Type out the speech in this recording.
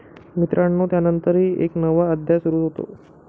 मित्रानो त्यानंतर एक नवा अध्याय सुरू होतो.